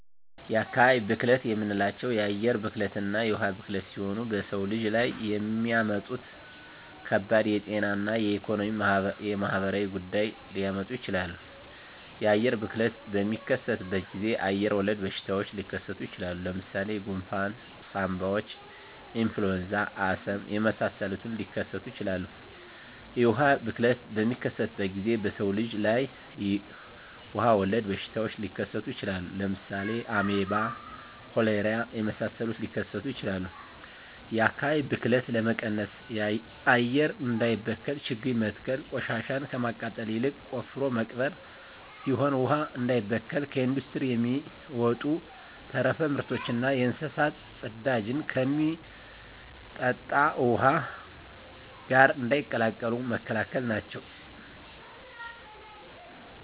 የአካባቢ ብክለት የምንላቸው የአየር ብክለትና የውሀ ብክለት ሲሆኑ በሰው ልጅ ላይ የሚያመጡት ከባድ የጤና የኢኮኖሚ የማህበራዊ ጉዳት ሊያመጡ ይችላሉ። የአየር ብክለት በሚከሰትበት ጊዜ አየር ወለድ በሽታዎች ሊከሰቱ ይችላል። ለምሳሌ ጉንፍን ሳምባምች ኢንፍሉዌንዛ አስም የመሳሰሉትን ሊከሰቱ ይችላሉ። የውሀ ብክለት በሚከሰትበት ጊዜ በሰው ልጅ ላይ ውሀ ወለድ በሽታዎች ሊከሰቱ ይችላሉ። ለምሳሌ አሜባ ኮሌራ የመሳሰሉት ሊከሰቱ ይችላሉ። የአካባቢ ብክለት ለመቀነስ አየር እንዳይበከል ችግኝ መትከል ቆሻሻን ከማቃጠል ይልቅ ቆፍሮ መቅበር ሲሆን ውሀ እንዳይበከል ከኢንዱስትሪ የሚወጡ ተረፈ ምርቶችና የእንስሳት ፅዳጅን ከሚጠጣ ውሀ ጋር እንዳይቀላቀሉ መከላከል ናቸው።